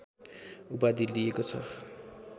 उपाधि दिएको छ